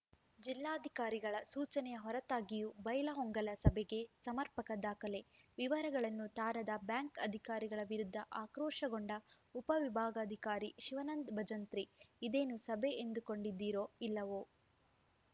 ಜಿಲ್ಲಾಧಿಕಾರಿಗಳ ಸೂಚನೆಯ ಹೊರತಾಗಿಯೂ ಬೈಲಹೊಂಗಲ ಸಭೆಗೆ ಸಮರ್ಪಕ ದಾಖಲೆ ವಿವರಗಳನ್ನು ತಾರದ ಬ್ಯಾಂಕ್‌ ಅಧಿಕಾರಿಗಳ ವಿರುದ್ಧ ಆಕ್ರೋಶಗೊಂಡ ಉಪವಿಭಾಗಾಧಿಕಾರಿ ಶಿವಾನಂದ ಭಜಂತ್ರಿ ಇದೇನು ಸಭೆ ಎಂದುಕೊಂಡಿದ್ದೀರೋ ಇಲ್ಲವೋ